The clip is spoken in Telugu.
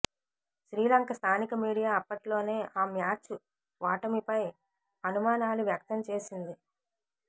శ్రీలంక స్థానిక మీడియా అప్పట్లోనే ఆ మ్యాచ్ ఓటమిపై అనుమానాలు వ్యక్తంజేసింది